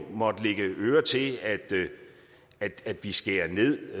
måttet lægge øre til at vi skærer ned